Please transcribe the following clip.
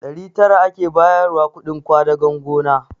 Ɗari tara ake bayarwa kuɗin ƙwadagon gona